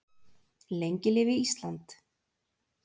Lengi lifi Ísland.